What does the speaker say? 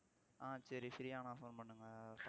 ஆஹ் சரி free யானா phone பண்ணுங்க